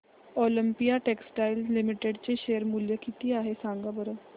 Olympia textiles limited चे share मूल्य काय आहे सांगा बरं